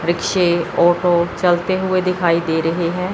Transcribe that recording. रिक्शे ऑटो चलते हुए दिखाई दे रही है।